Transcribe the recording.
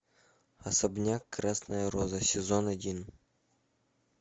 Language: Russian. особняк красная роза сезон один